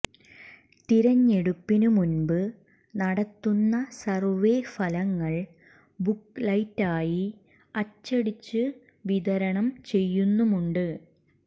തിരഞ്ഞെടുപ്പിന് മുൻപ് നടത്തുന്ന സർവ്വേ ഫലങ്ങൾ ബുക്കലെറ്റായി അച്ചടിച്ച് വിതരണം ചെയ്യുന്നുമുണ്ട്